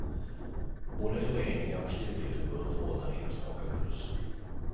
Både föreningar och studieförbund ordnar enstaka kurser.